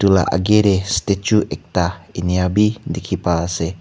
la age te statue ekta eni abhi dekhi pai ase.